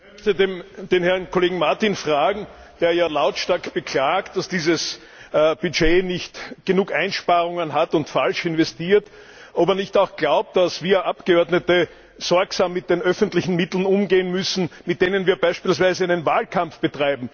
Herr Präsident! Ich möchte den Herrn Kollegen Martin fragen, der ja lautstark beklagt, dass dieses Budget nicht genug Einsparungen vorsieht und falsch investiert, ob er nicht auch glaubt, dass wir Abgeordnete sorgsam mit den öffentlichen Mitteln umgehen müssen, mit denen wir beispielweise einen Wahlkampf führen.